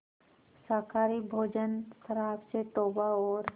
शाकाहारी भोजन शराब से तौबा और